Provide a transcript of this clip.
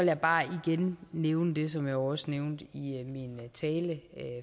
jeg bare igen nævne det som jeg også nævnte i min tale